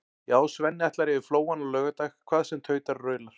Já, Svenni ætlar yfir Flóann á laugardag hvað sem tautar og raular.